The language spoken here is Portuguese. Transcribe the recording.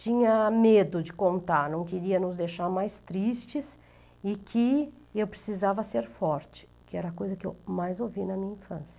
tinha medo de contar, não queria nos deixar mais tristes, e que eu precisava ser forte, que era a coisa que eu mais ouvi na minha infância.